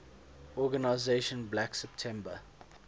organization black september